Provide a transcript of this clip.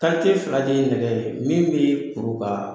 fila de ye nɛgɛ ,min be kuru ka